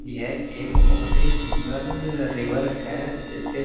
यह एक बहुत ही सुन्‍दर रिवर है जिसके --